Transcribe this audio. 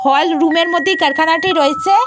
হল রুম -এর মধ্যে কারখানাটি রয়েছে।